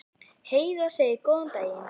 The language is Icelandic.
Heiða segir góðan daginn!